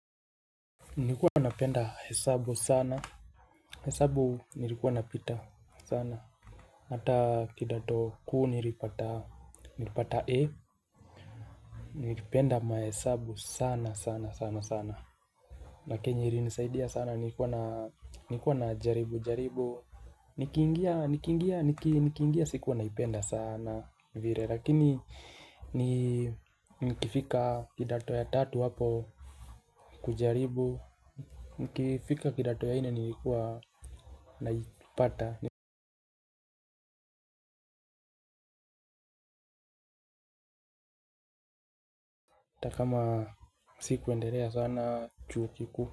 Nikuwa napenda hesabu sana. Hesabu nilikuwa napita sana. Hata kidatoku nilipata. Nilipata. E nikipenda mahesabu sana sana sana sana nakenye ilinisaidia sana nilikuwa na jaribu jaribu. Nikiingia sikuwa naipenda sana vile. Lakini nikifika kidato ya tatu hapo. Kujaribu nikifika kidato ya nne nilikuwa naipata hata kama siku endelea sana chuokikuu.